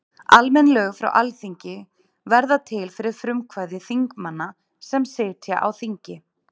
almenn lög frá alþingi verða til fyrir frumkvæði þingmanna sem sitja á þingi